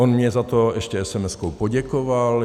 On mně za to ještě SMSkou poděkoval.